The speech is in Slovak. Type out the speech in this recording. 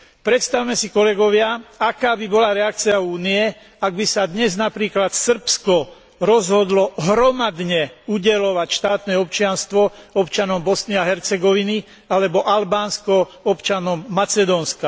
Predstavme si kolegovia, aká by bola reakcia Únie, ak by sa dnes napríklad Srbsko rozhodlo hromadne udeľovať štátne občianstvo občanom Bosny a Hercegoviny alebo Albánsko občanom Macedónska.